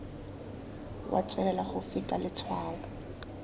wa tswelela go feta letshwao